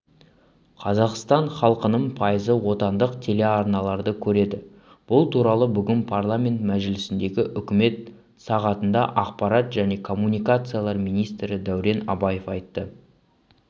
қазақстан халқының пайызы отандық телеарналарды көреді бұл туралы бүгін парламент мәжілісіндегі үкімет сағатында ақпарат және коммуникациялар министрі дәурен абаев айтты